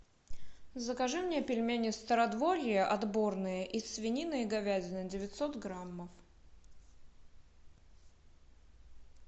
закажи мне пельмени стародворье отборные из свинины и говядины девятьсот граммов